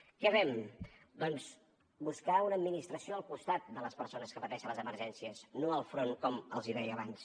què fem doncs buscar una administració al costat de les persones que pateixen les emergències no enfront com els deia abans